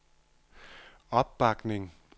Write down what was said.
opbakning